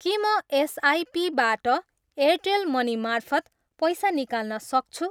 के म एसआइपीबाट एयरटेल मनी मार्फत पैसा निकाल्न सक्छु?